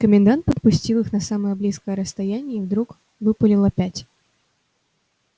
комендант подпустил их на самое близкое расстояние и вдруг выпалил опять